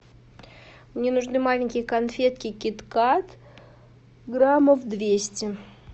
мне нужны маленькие конфетки кит кат граммов двести